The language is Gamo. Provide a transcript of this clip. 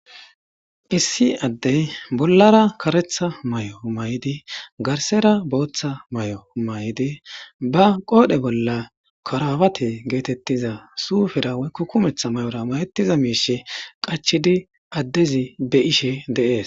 Issi adeyi bollara karetha mayo mayidi gathara botha mayo mayiddi ba qodhe bolla karabate yagetidda zoyo kumetha mayora mayetida mishe qachidi adezi beyishe deyesi.